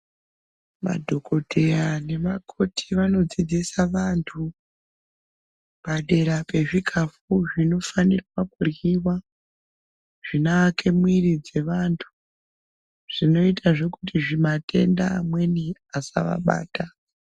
Madhokodheya nemakoti vanodzidzisa vanhu padera pezvikafu zvinofane kuryiwa zvinoake mwiri dzevanthu zvinoitazve kuti zvimatenda amweni asavabata.